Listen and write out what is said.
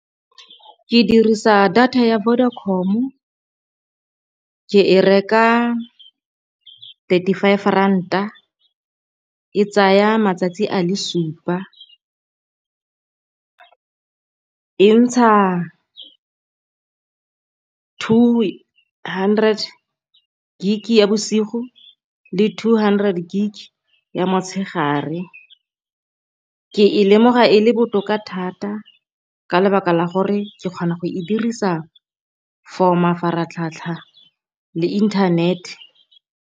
Ke dirisa data ya Vodacom o ke e reka thirty five ranta e tsaya matsatsi a le supa, e ntsha two hundred gig ya bosigo le two hundred gig ya motshegare. Ke e lemoga e le botoka thata ka lebaka la gore ke kgona go e dirisa for mafaratlhatlha le internet.